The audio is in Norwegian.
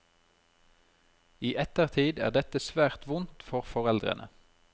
I ettertid er dette svært vondt for foreldrene.